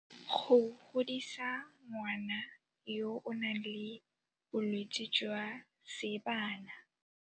Go godisa ngwana yo o nang le bolwetse jwa seebana.